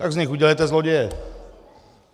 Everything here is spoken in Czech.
Tak z nich udělejte zloděje.